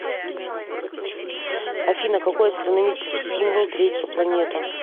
афина какой астрономический символ третья планета